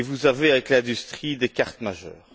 Vous avez, avec l'industrie, des cartes majeures.